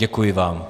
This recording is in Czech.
Děkuji vám.